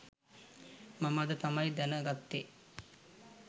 මම අද තමයි දැන ගත්තේ